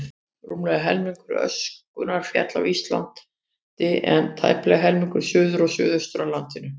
Rúmlega helmingur öskunnar féll á Íslandi, en tæplega helmingur suður og suðaustur af landinu.